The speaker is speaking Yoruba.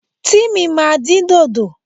Tímì ma din dodo.